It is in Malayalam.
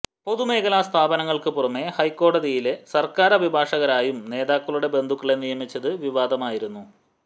പൊതുമേഖലാ സ്ഥാപനങ്ങള്ക്ക് പുറമെ ഹൈക്കോടതിയിലെ സര്ക്കാര് അഭിഭാഷകരായും നേതാക്കളുടെ ബന്ധുക്കളെ നിയമിച്ചത് വിവാദമായിരുന്നു